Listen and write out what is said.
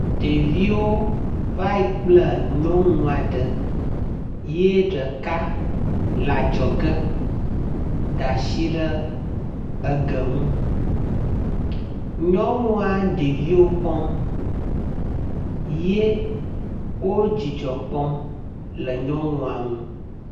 Ɖeviwo vae kple nyɔnu aɖe ye ɖeka le adzɔge da asi ɖe eɖe nu. nyɔnu ɖeviwo kpɔm ye wo dzidzɔ kpɔm le nyɔnua nu.